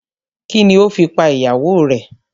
Kini o fi pa ìyàwó rè?